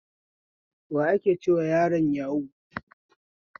Waye ake cewa yaron yahu?